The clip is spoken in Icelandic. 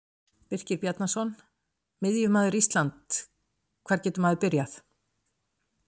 Birkir Bjarnason Miðjumaður Ísland Hvar getur maður byrjað?